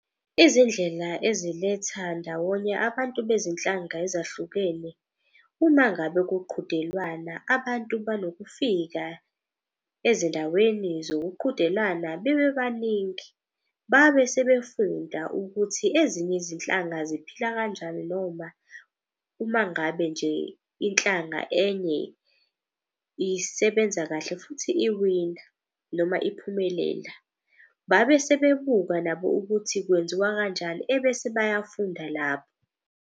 Izindlela eziletha ndawonye abantu bezinhlanga ezahlukene uma ngabe kuqhudelwana. Abantu banokufika ezindaweni zokuqhudelana bebe baningi, babe sebefunda ukuthi ezinye izinhlanga ziphila kanjani. Noma uma ngabe nje inhlanga enye isebenza kahle futhi iwina noma iphumelela. Babe sebebuka nabo ukuthi kwenziwa kanjani, ebese bayafunda .